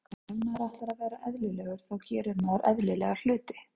Ef maður ætlar að vera eðlilegur þá gerir maður eðlilega hluti.